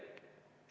Selge.